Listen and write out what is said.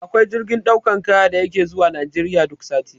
Da akwai jirgin ɗaukan kaya da yake zuwa Najeriya duk sati